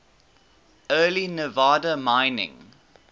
early nevada mining